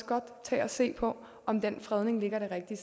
godt tage og se på om den fredning ligger det rigtige